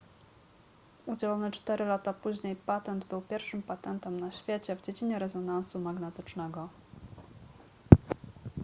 udzielony cztery lata później patent był pierwszym patentem na świecie w dziedzinie rezonansu magnetycznego